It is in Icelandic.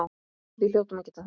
Við hljótum að geta það.